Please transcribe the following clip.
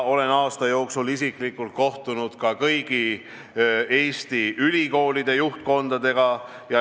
Olen aasta jooksul isiklikult kohtunud kõigi Eesti ülikoolide juhtkondadega.